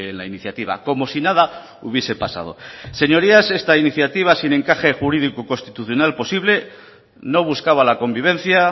la iniciativa como si nada hubiese pasado señorías esta iniciativa sin encaje jurídico constitucional posible no buscaba la convivencia